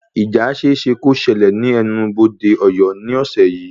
Ìjà ṣeéṣe kó ṣẹlẹ̀ ní ẹnu-bodé Ọ̀yọ́ ní ọ̀sẹ̀ yìí